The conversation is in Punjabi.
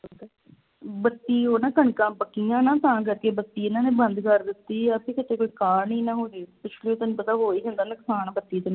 ਬੱਤੀ ਉਹ ਨਾ ਕਣਕਾਂ ਪੱਕੀਆਂ ਨਾ ਤਾਂ ਕਰਕੇ ਬੱਤੀ ਇਨ੍ਹਾਂ ਨੇ ਬੰਦ ਕਰ ਦਿੱਤੀ ਆ ਬਈ ਕਿਤੇ ਕੋਈ ਕਾਂਡ ਹੀ ਨਾ ਹੋ ਜਾਏ ਪਿਛਲੇ ਤੈਨੂੰ ਪਤਾ ਹੋ ਹੀ ਜਾਂਦਾ ਨੁਕਸਾਨ ਬੱਤੀ ਦੇ ਨਾਲ